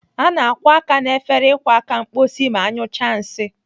A na-akwọ aka n'efere ịkwọ aka mkposi ma anyụchaa nsị.